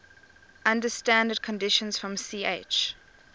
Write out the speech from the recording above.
under standard conditions from ch